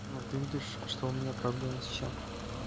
ну ты видишь что у меня проблемы с чем